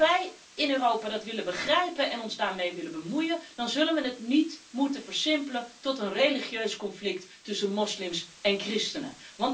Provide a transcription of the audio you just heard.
Als wij in Europa dat willen begrijpen en ons daarmee willen bemoeien, dan mogen we dit niet versimpelen tot een religieus conflict tussen moslims en christenen.